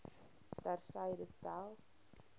ter syde stel